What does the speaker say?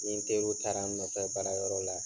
Nin teriw taara n nɔfɛ baara yɔrɔ la.